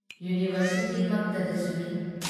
ꯌꯨꯅꯤꯚꯔꯁꯤꯇꯤꯃꯛꯇꯗꯁꯨꯅꯤ ꯫